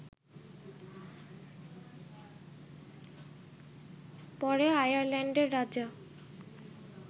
পরে আয়ারল্যান্ডের রাজা